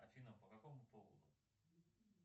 афина по какому поводу